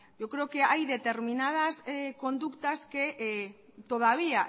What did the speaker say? yo creo que hay determinadas conductas que todavía